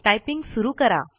typing सुरु करा